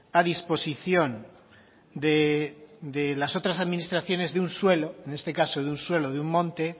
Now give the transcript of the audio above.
a disposición de las otras administraciones de un suelo en este caso de un suelo de un monte